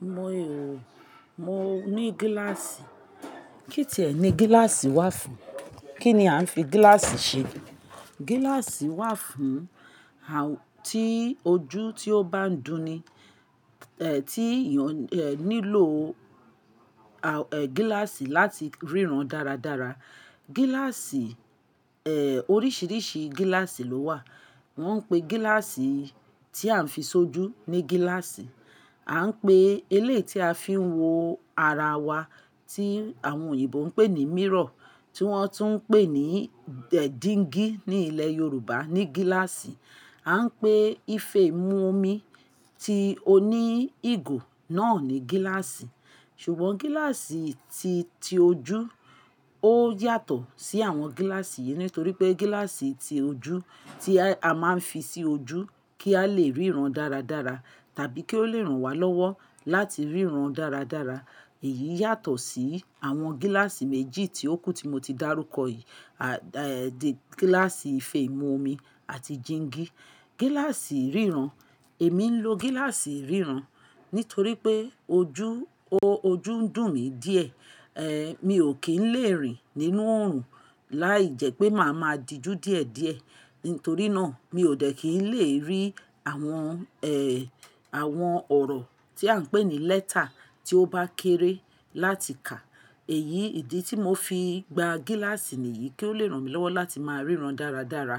Mo o, mo ní gíláàsì. Kí tí ẹ ní gíláàsì wà fún? Kí ni a ń fi gíláàsì ṣe? Gíláàsì wà fún, à, tí ojú tí ó bá ń dùn ni, eh, tí èèyàn, eh, nílò, à, eh, gíláàsì láti ríran dáradára. Gíláàsì, eh, oríṣiríṣi gíláàsì ló wà. Wọ́n ń pe gíláàsì tí a ń fi ṣojú ní gíláàsì. A ń pe elé tí a fi ń wo ara wa tí àwọn òyìnbó ń pè ní mirror, tí wọ́n tún ń pè ní dẹ̀díngí ní ilẹ̀ Yorùbá ní gíláàsì. A ń pè ife ìmú omi tí ó ní ìgò náà ní gíláàsì. Ṣùgbọ́n gíláàsì ti, ti ojú ó yàtọ̀ sí àwọn gíláàsì yìí, nítorí pé gíláàsì ti ojú tí a máa ń fi sí ojú kí a lè ríran dáradára tàbí kí ó lè ràn wá lọ́wọ́ láti ríran dáradára. Èyí yàtọ̀ sí àwọn gíláàsì méjì tí ó kù tí mo ti dárúkọ yìí, à, eh, gíláàsì ife ìmú omi àti jingi. Gíláàsì ríran, èmi ń lo gíláàsì ríran, nítorí pé ojú, o-ojú ń dùn mí díẹ̀. Eh, mi ò kí ń lè rìn nínú oòrùn láìjẹ́ pé màá máa di ju díẹ̀díẹ̀. Nítorí náà mi ò dẹ̀ kí ń lè rí àwọn, ẹ, àwọn ọ̀rọ̀ tí à ń pè ní lẹ́tà tí ó bá kéré láti kà. Èyí, ìdí tí mo fi gba gíláàsì nìyí kí ó lè ràn mi lọ́wọ́ láti máa ríran dáradára.